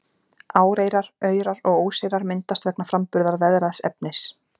Áreyrar, aurar og óseyrar myndast vegna framburðar veðraðs efnis.